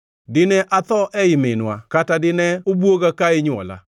“Dine atho ei minwa, kata dine obwoga ka inywola?